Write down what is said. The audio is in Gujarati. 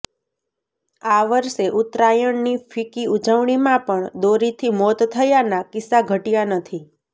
આ વર્ષે ઉત્તરાયણની ફિક્કી ઉજવણીમાં પણ દોરીથી મોત થયાના કિસ્સા ઘટ્યા નથી